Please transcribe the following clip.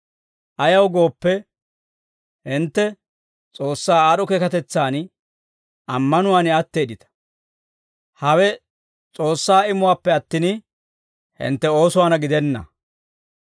Ayaw gooppe, hintte S'oossaa aad'd'o keekatetsan, ammanuwaan atteeddita; hawe S'oossaa imuwaappe attin, hintte oosuwaanna gidenna.